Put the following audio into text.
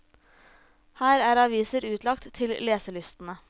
Her er aviser utlagt til leselystne.